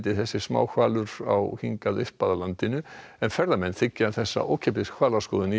á hingað upp að landinu en ferðamenn þiggja þessa ókeypis hvalaskoðun í fjöruborðinu